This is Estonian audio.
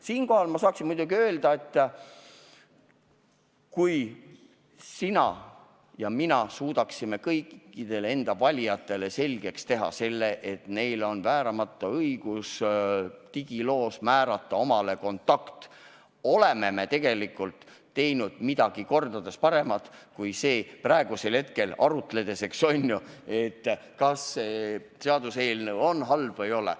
Siinkohal saaksin ma muidugi öelda, et kui sina ja mina suudaksime kõikidele enda valijatele selgeks teha, et neil on vääramatu õigus digiloos omale kontakt määrata, oleme tegelikult teinud midagi kordades paremat kui praegusel hetkel arutledes, kas see seaduseelnõu on halb või ei ole.